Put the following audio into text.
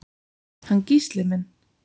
Hann Gísli minn?